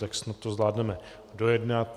Tak snad to zvládneme dojednat.